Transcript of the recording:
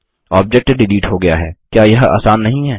object delete हो गया हैक्या यह आसान नहीं है